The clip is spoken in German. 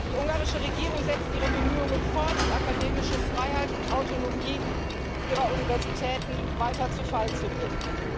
Die ungarische Regierung setzt ihre Bemühungen fort, die akademische Freiheit und Autonomie ihrer Universitäten weiter zu Fall zu bringen.